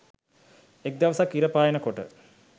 එක දවසක් ඉර පායන කොට